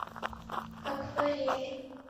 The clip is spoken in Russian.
акварели